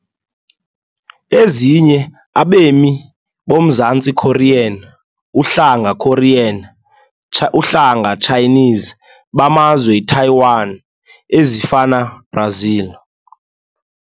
Ezinye Abemi boMzantsi Korean, uhlanga Korean, uhlanga Chinese, bamazwe Taiwan, ezifana Brazil .